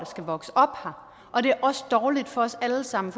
skal vokse op her og det er også dårligt for os alle sammen